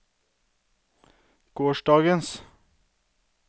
gårsdagens